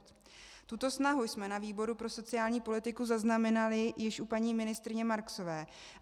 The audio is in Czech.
Tuto snahu jsme na výboru pro sociální politiku zaznamenali již u paní ministryně Marksové.